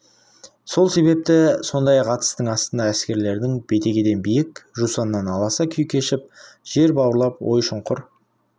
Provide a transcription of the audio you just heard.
сол себепті сондай атыстың астында әскерлердің бетегеден биік жусаннан аласа күй кешіп жер бауырлап ой шұңқыр